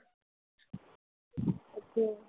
अच्छा.